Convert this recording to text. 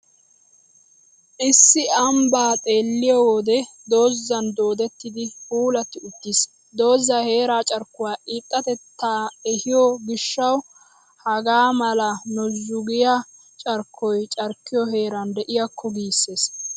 Issi ambbaa xeelliyo wode dozan doodettidi puuatti uttiis. Dozay heeraa carkkuwaa irxxatettaa ehiyo gishshawu, hagaa mala nozhzhu giya carkkoy carkkiyo heeran de'iyaakko giissees.